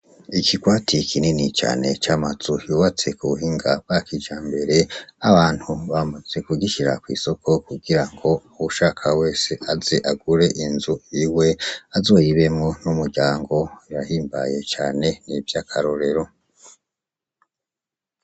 Ikikwatiye ikinini cane c'amazu hyubatse kuwuhinga bwa kija mbere abantu bamaze kugisira kw'isoko kugira ngo uwushaka wese azi agure inzu iwe azoyibemwo n'umuryango rahimbaye cane n'ivyo akarorero.